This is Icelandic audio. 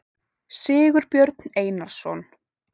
sigurbjörn einarsson